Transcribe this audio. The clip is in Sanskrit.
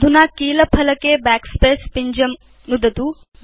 अधुना कील फलके Backspace पिञ्जं नुदतु